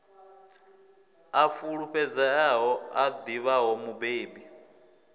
a fulufhedzeaho a ḓivhaho mubebi